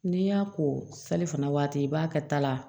N'i y'a ko sali fana waati i b'a kɛ ta la